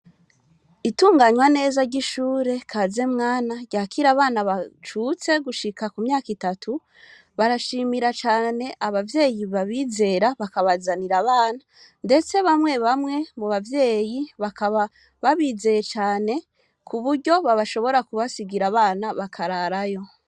Itunganywa neza ry'ishure kazemwana ryakira abana bacutse gushika ku myaka itatu barashimira cane abavyeyi babizera bakabazanira abana, ndetse bamwe bamwe mu bavyeyi bakaba babizeye cane ku buryo babashobora kubasigira abana bakararayo.